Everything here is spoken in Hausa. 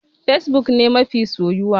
Fesbuk ne mafi soyuwa.